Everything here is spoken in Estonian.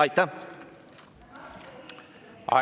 Aitäh!